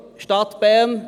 Stadt Bern